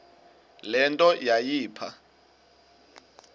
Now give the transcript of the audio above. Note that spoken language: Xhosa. le nto yayipha